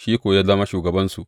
Shi kuwa ya zama shugabansu.